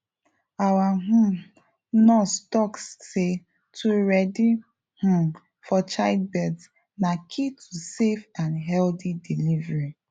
our um nurse talk say to ready um for childbirth na key to safe and healthy delivery